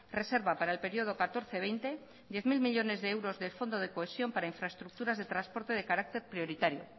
reserva para el período catorce veinte diez mil millónes de euros del fondo de cohesión para infraestructuras de transporte de carácter prioritario